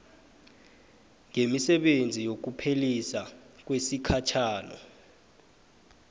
nemisebenzi yokuphelisa kwesikhatjhana